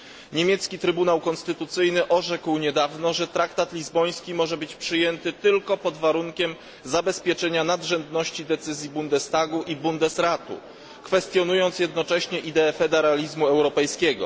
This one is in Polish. Niemiecki Trybunał Konstytucyjny orzekł niedawno, że traktat lizboński może być przyjęty tylko pod warunkiem zabezpieczenia nadrzędności decyzji Bundestagu i Bundesratu, kwestionując jednocześnie ideę federalizmu europejskiego.